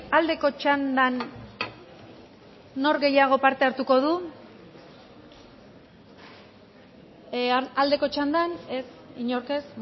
aldeko txandan nor gehiago parte hartuko du aldeko txandan ez inork ez